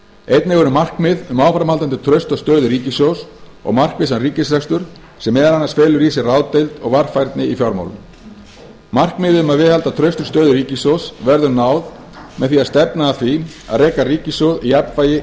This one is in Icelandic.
einnig eru markmið um áframhaldandi trausta stöðu ríkissjóðs og markvissan ríkisrekstur sem meðal annars felur í sér ráðdeild og varfærni í fjármálum markmiði um að viðhalda traustri stöðu ríkissjóðs verður náð með því að stefna að því að reka ríkissjóð í jafnvægi